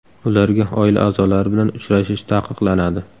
Ularga oila a’zolari bilan uchrashish taqiqlanadi.